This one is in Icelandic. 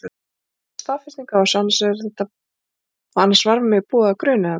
Ég var að fá staðfestingu á þessu. annars var mig búið að gruna þetta.